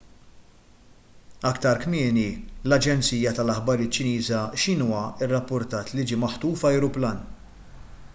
aktar kmieni l-aġenzija tal-aħbarijiet ċiniża xinhua rrappurtat li ġie maħtuf ajruplan